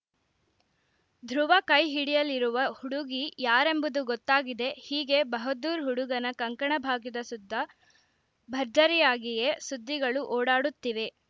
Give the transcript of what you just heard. ಧ್ರುವ ಕೈ ಹಿಡಿಯಲಿರುವ ಹುಡುಗಿ ಯಾರೆಂಬುದು ಗೊತ್ತಾಗಿದೆ ಹೀಗೆ ಬಹದ್ದೂರ್‌ ಹುಡುಗನ ಕಂಕಣ ಭಾಗ್ಯದ ಸುತ್ತ ಭರ್ಜರಿಯಾಗಿಯೇ ಸುದ್ದಿಗಳು ಓಡಾಡುತ್ತಿವೆ